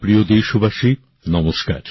আমার প্রিয় দেশবাসী নমস্কার